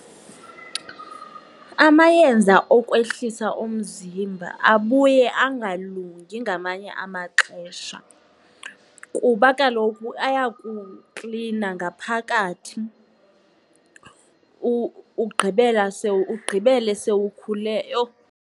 Amayeza okwehlisa umzimba abuye angalilungi ngamanye amaxesha kuba kaloku ayakuklina ngaphakathi ugqibela ugqibele sewukhule. Yho!